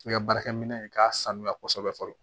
I ka baarakɛminɛn in k'a sanuya kosɛbɛ fɔlɔ